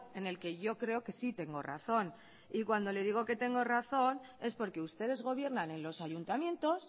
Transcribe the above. en el que yo creo que sí tengo razón y cuando le digo que tengo razón es porque ustedes gobiernan en los ayuntamientos